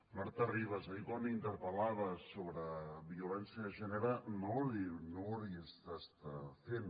marta ribas ahir quan interpel·laves sobre violència de gènere no ho deuries estar fent